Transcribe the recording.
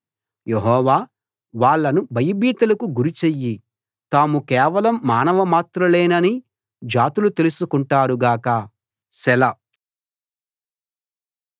యెహోవా వాళ్ళను భయభీతులకు గురిచెయ్యి తాము కేవలం మానవమాత్రులేనని జాతులు తెలుసుకుంటారు గాక సెలా